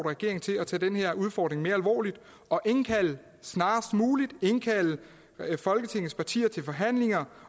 regeringen til at tage den her udfordring mere alvorligt og snarest muligt indkalde folketingets partier til forhandlinger